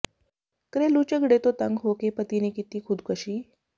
ਘਰੇਲੂ ਝਗੜੇ ਤੋਂ ਤੰਗ ਹੋ ਕੇ ਪਤੀ ਨੇ ਕੀਤੀ ਖੁਦਕਸ਼ੀ